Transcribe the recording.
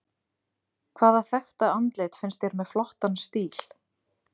Hvaða þekkta andlit finnst þér með flottan stíl?